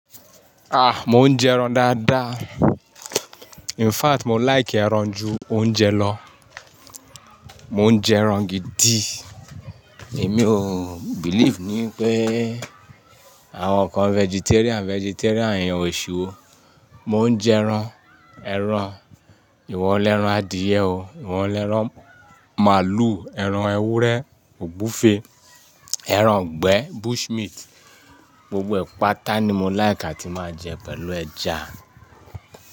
Ah! Mo ń jẹran dáadáa. In fact, mo like ẹran ju oúnjẹ lọ. Mo ń jẹ ẹran gidi. Èmi o believe ni pé àwọn kan vegetarian, vegetarian yan òṣi wọ̀. Mo ń jẹ ẹran, ẹran ìwọ lẹ́ran adìẹ o, ìwọ lẹ́ran màlúù, ẹran ewúrẹ́, ògbufe, ẹran igbẹ bush meat gbogbo ẹ̀ pàtá ni mo like àti máa jẹ pẹ̀lú ẹja.